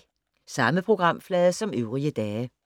Samme programflade som øvrige dage